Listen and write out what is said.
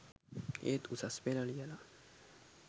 ඒත් උසස් පෙළ ලියලා